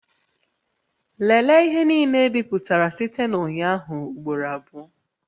Lelee ihe niile ebipụtara site na ụnyaahụ ugboro abụọ